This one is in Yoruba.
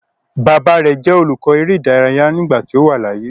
Baba rẹ jẹ olukọ ere idaraya nigbati o wa laaye